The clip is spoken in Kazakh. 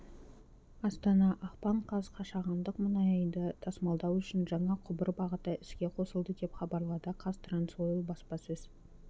астана ақпан қаз қашағандық мұнайды тасымалдау үшін жаңа құбыр бағыты іске қосылды деп хабарлады қазтрансойл баспасөз